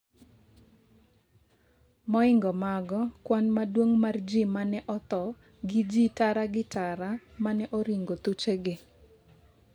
moingo mago, kwan maduong' mar jii mane otho gi jii tara gi tara mane oringo thuche gi